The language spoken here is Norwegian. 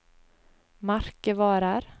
merkevarer